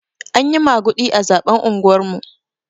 Anyi maguɗi a zaɓen unguwar mu.